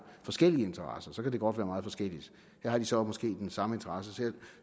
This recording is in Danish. forskellige interesser for så kan det godt være meget forskelligt her har de så måske den samme interesse